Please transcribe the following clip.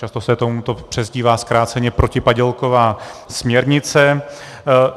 Často se tomuto přezdívá zkráceně protipadělková směrnice.